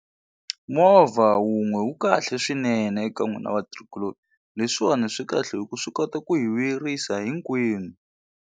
Movha wun'we wu kahle swinene eka n'wina vatirhikuloni leswiwani swi kahle hikuva swi kota ku yi vuyerisa hinkwenu.